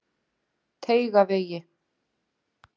Teigavegi